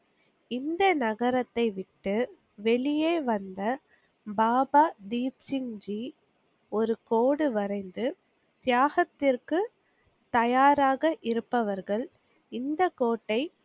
இந்த நகரத்தை விட்டு வெளியே வந்த பாபா தீப்சிங்ஜி ஒரு கோடு வரைந்து தியாகத்திற்க்கு தயாராக இருப்பவர்கள் இந்தக் கோட்டை